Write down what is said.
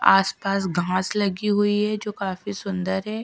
आसपास घांस लगी हुई है जो काफी सुन्दर है --